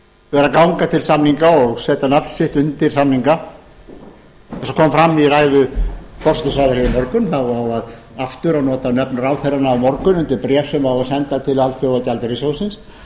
vera að ganga til samninga og setja nafn sitt undir samninga eins og kom fram í ræðu forsætisráðherra hér í morgun á aftur að nota nöfn ráðherranna á morgun undir bréf sem á að senda til alþjóðagjaldeyrissjóðsins